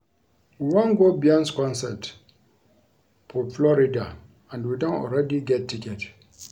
We wan go Beyonce concert for Florida and we don already get ticket